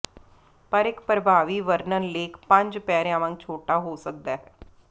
ਪਰ ਇੱਕ ਪ੍ਰਭਾਵੀ ਵਰਣਨ ਲੇਖ ਪੰਜ ਪੈਰਿਆਂ ਵਾਂਗ ਛੋਟਾ ਹੋ ਸਕਦਾ ਹੈ